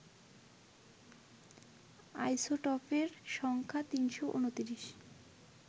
আইসোটোপের সংখ্যা ৩৩৯